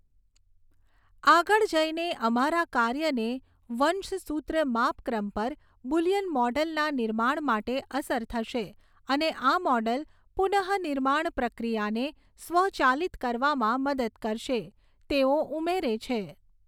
આગળ જઈને, અમારા કાર્યને વંશસૂત્ર માપક્રમ પર બુલિયન મૉડલના નિર્માણ માટે અસર થશે અને આ મૉડલ પુનઃનિર્માણ પ્રક્રિયાને સ્વચાલિત કરવામાં મદદ કરશે, તેઓ ઉમેરે છે.